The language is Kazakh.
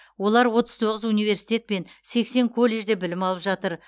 олар отыз тоғыз университет пен сексен колледжде білім алып жатыр